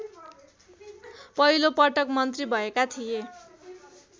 पहिलोपटक मन्त्री भएका थिए